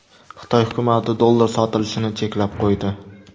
Xitoy hukumati dollar sotilishini cheklab qo‘ydi.